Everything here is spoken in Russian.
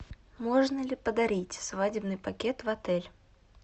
можно ли подарить свадебный пакет в отель